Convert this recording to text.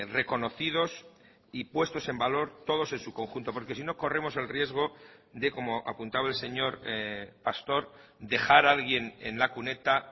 reconocidos y puestos en valor todos en su conjunto porque si no corremos el riesgo de como apuntaba el señor pastor dejar a alguien en la cuneta